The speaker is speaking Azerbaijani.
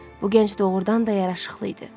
Bu gənc doğurdan da yaraşıqlı idi.